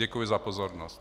Děkuji za pozornost.